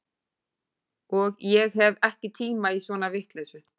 Og ég hef ekki tíma í svona vitleysu